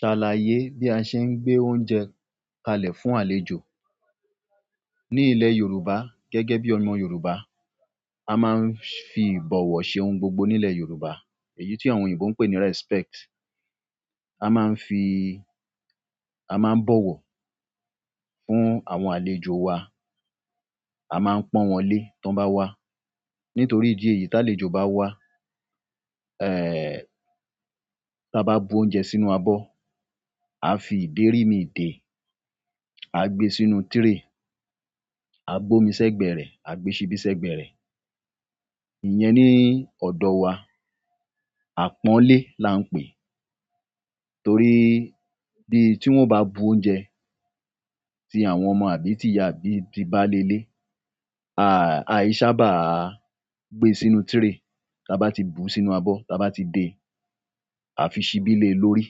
Ṣàlàyé bí a ṣe ń gbé oúnjẹ kalẹ̀ fún àlejò. Ni ile yorùbá gẹ́gẹ́ bi ọmọ yorùbá, a maa n fi ibowo se ohun gbogbo ni ile yorùbá èyí ti àwọn oyinbo n pe ni respect. A máa ń fi, a máa ń bọ̀wọ̀ fún àwọn àlejò wa, a máa ń pọ́nwọnlé tí wọ́n bá wá. Nítorí ìdí èyí tí àlejò bá wá, tí a bá bu oúnjẹ sínú abọ́, a fi ìdérí mi dè, a gbe sínú tray, a bu omi sẹ́gbẹ̀rẹ̀, a gbe ṣíbí sẹ́gbẹ̀rẹ̀. Iyẹn ni ọ̀dọ̀ wa, àpọ́nlé là ń pè. Torí bí tí wọ́n bá bu oúnjẹ tí àwọn ọmọ àbí ti ìyá àbí ti bálé ilé, a yi sábà gbe sínú tray. Tí a bá ti bú sínú abọ́ tí a bá ti dè, a fi ṣíbí lé lórí.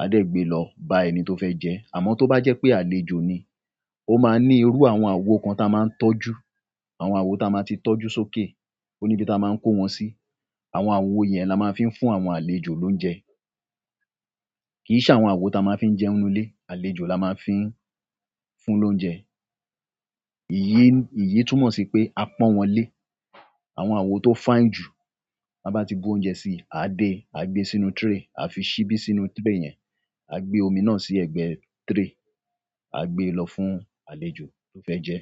A dẹ̀ gbe lọ bá ẹni tó fẹ́ jẹ. Àmọ́ tó bá jẹ́ pé àlejò ni, ó máa ní irú àwọn àwo kan tí a máa ń tọ́jú. Àwọn àwo tí a máa ti tọ́jú sókè. Ó níbi tí a máa ń kó wọn sí. Àwọn àwó yẹn ni a máa ń fi fún àwọn àlejò lóúnjẹ. Kìí ṣe àwọn àwo tí a máa ń fi jẹun nínú ilé, àlejò ni a máa ń fi fún lóúnjẹ. Èyí, èyí túmọ̀ sí pé a pọ́nwọnlé. Àwọn awo to fine ju, ti won ti bu oúnjẹ si, aa de, aa gbe sínú tray, aa fi sibi sínú tray yen, aa gbe omi na si egbe tray, aa gbe lo fún àlejò to fe je.